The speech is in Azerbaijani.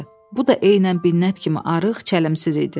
Bu da eynən Binnət kimi arıq, çələmsiz idi.